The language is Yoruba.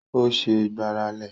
Ó ṣẹ́ gbáralé